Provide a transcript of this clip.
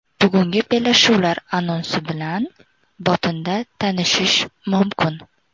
Bugungi bellashuvlar anonsi bilan botinda tanishish mumkin.